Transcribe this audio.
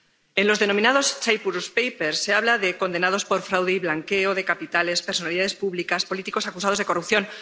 En los denominados Papeles de Chipre se habla de condenados por fraude y blanqueo de capitales, de personalidades públicas y políticos acusados de corrupción.